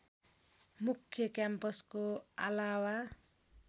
मुख्य क्याम्पसको अलावा